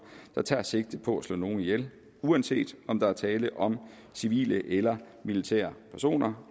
der tager sigte på at slå nogen ihjel uanset om der er tale om civile eller militære personer